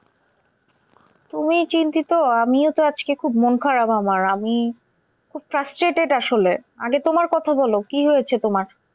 তুমি চিন্তিত আমিও তো আজকে খুব মন খারাপ আমার আমি খুব frustrated আসলে। আগে তোমার কথা বলো কি হয়েছে তোমার?